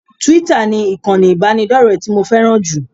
Twitter ni ìkànnì ìbánidọ́rẹ̀ẹ́ tí mo fẹ́ràn jù